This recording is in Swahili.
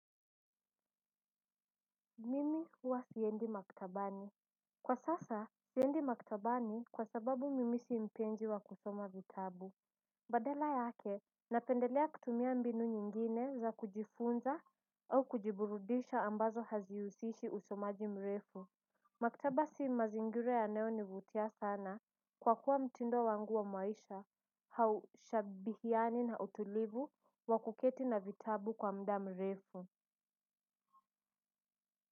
Mimi huwa siendi maktabani kwa sasa siendi maktabani kwa sababu mimi si mpenzi wa kusoma vitabu badala yake napendelea kutumia mbinu nyingine za kujifunza au kujiburudisha ambazo hazi husishi usomaji mrefu maktaba si mazingira yanayo nivutia sana kwa kuwa mtindo wangu wa maisha haushabihiani na utulivu wa kuketi na vitabu kwa mda mrefu.